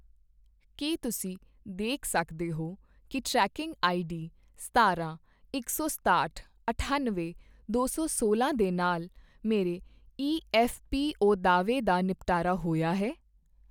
ਕੀ ਤੁਸੀਂ ਦੇਖ ਸਕਦੇ ਹੋ ਕੀ ਟਰੈਕਿੰਗ ਆਈਡੀ ਸਤਾਰਾਂ, ਇਕ ਸੌ ਸਤਾਹਟ, ਅਠਾਨਵੇਂ, ਦੋ ਸੌ ਸੋਲਾਂ ਦੇ ਨਾਲ ਮੇਰੇ ਈਐੱਫ਼ਪੀਓ ਦਾਅਵੇ ਦਾ ਨਿਪਟਾਰਾ ਹੋਇਆ ਹੈ?